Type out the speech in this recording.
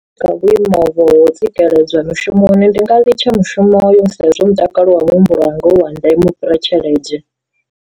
Kha vhuimo vho tsikeledzwa mushumoni ndi nga litsha mushumo yo sa izwo mutakalo wa muhumbulo wanga u wa ndeme ufhira tshelede.